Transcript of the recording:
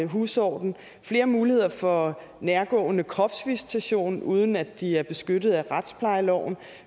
husordenen flere muligheder for nærgående kropsvisitation uden at de er beskyttet af retsplejeloven